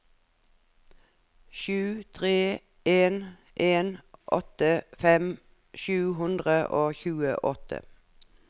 sju tre en en åttifem sju hundre og tjueåtte